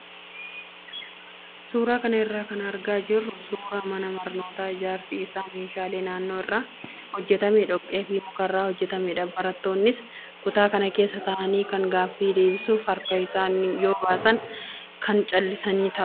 Suuraa kana irraa kan argaa jirru suuraa mana barnootaa ijaarsi isaa meeshaalee naannoo irraa hojjatamee dhoqqee fi mukarraa hojjatamedha. Barattoonnis kutaa kana keessa taa'anii kaan gaaffii deebisuuf harka yoo baasan kaan callisanii taa'u.